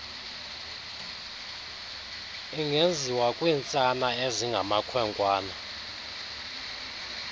ingenziwa kwiintsana ezingamakhwenkwana